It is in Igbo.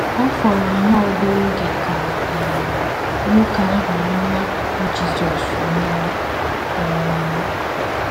Ọ FỌRỌ nnọọ obere oge ka um nwoke ahụ nọ n’akụkụ Jizọs nwụọ. um